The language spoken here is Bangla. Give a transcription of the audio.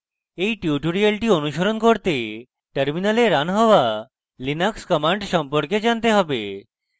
এই tutorial অনুসরণ করতে terminal running হওয়া linux commands সম্পর্কে জানতে have